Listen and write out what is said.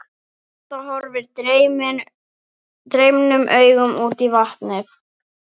Edda horfir dreymnum augum út á vatnið.